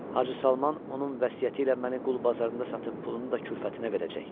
Hacı Salman onun vəsiyyətiylə məni qul bazarında satıb pulunu da külfətinə verəcək.